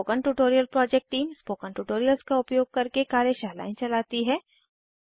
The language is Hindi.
spoken tutorial project team spoken tutorials का उपयोग करके कार्यशालाएं चलाती है